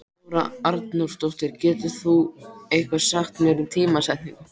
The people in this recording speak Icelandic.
Þóra Arnórsdóttir: Getur þú eitthvað sagt um tímasetningu?